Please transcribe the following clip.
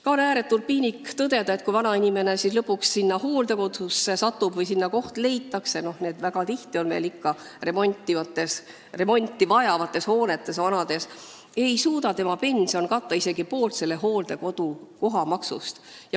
Ka on ääretult piinlik tõdeda, et kui vanainimene lõpuks hooldekodusse satub või sinna koht leitakse – need hooldekodud on veel väga tihti remonti vajavates hoonetes –, ei suuda tema pension katta isegi poolt hooldekodu kohamaksust.